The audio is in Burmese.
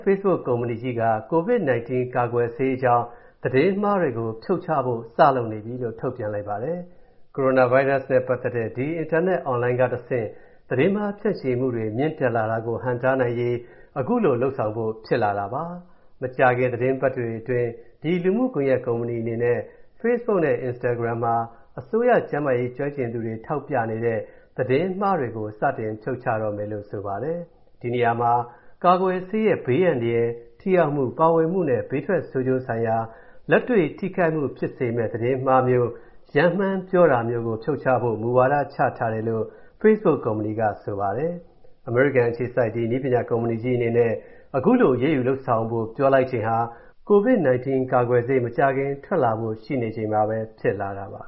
Facebook ကုမ္ပဏီကြီးက ကိုဗစ်-19 ကာကွယ်ဆေးအကြောင်း သတင်းမှားတွေကို ဖြုတ်ချဖို့ စလုပ်နေပြီလို့ ထုတ်ပြန်လိုက်ပါတယ်။ ကိုရိုနာဗိုင်းရပ်စ်နဲ့ပတ်သက်တဲ့ ဒီ အင်တာနက် Online ကတဆင့် သတင်းမှားဖြန့်ချီမူတွေ မြင့်တက်လာတာကို ဟန့်တားနိုင်ရေး၊ အခုလို လုပ်ဆောင်ဖို့ ဖြစ်လာတာပါ။ မကြာခင် သီတင်းပတ်တွေအတွင်း ဒီလူမူကွန်ယက်ကုမ္ပဏီအနေနဲ့ Facebook နဲ့ Instagram ပေါ်မှာ အစိုးရကျန်းမာရေးကျွမ်းကျင်သူတွေထောက်ပြနေတဲ့ သတင်းမှားတွေကို စတင်ဖြုတ်ချတော့မယ်လို့ ဆိုပါတယ်။ ဒီနေရာမှာ ကာကွယ်ဆေးရဲ့ ဘေးအန္တရာယ်၊ ထိရောက်မူ၊ ပါဝင်မူနဲ့ ဘေးထွက်ဆိုးကျိုးဆိုင်ရာ လက်တွေ့ ထိခိုက်မူတွေဖြစ်စေမယ့် သတင်းမှားမျိုး၊ ရမ်းမှန်းပြောတာမျိုးကို ဖြုတ်ချဖို့ မူဝါဒချထားတယ်လို့ Facebook ကုမ္ပဏီက ဆိုပါတယ်။ အမေရိကန်အခြေစိုက် နည်းပညာကုမ္ပဏီကြီးအနေနဲ့ ခုလို အရေးယူလုပ်ဆောင်ဖို့ ပြောလိုက်ချိန်ဟာ၊ ကိုဗစ်-19 ကာကွယ်ဆေး မကြာခင်ထွက်လာဖို့ ရှိနေချိန်မှာပဲ ဖြစ်လာတာပါ